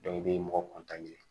i bɛ mɔgɔ